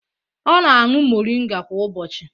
Ọ na-aṅụ moringa kwa ụbọchị